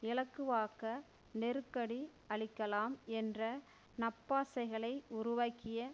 இலகுவாக்க நெருக்கடி அளிக்கலாம் என்ற நப்பாசைகளை உருவாக்கிய